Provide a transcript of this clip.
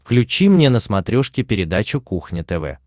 включи мне на смотрешке передачу кухня тв